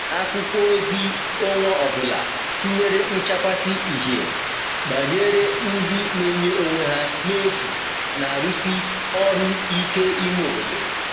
akwụkwo ozi onwa ọbụla tinyere nchakwasi ihie gbanyere ndi n'enye onwe ha n'efu n'arusi ọru ike ime obodo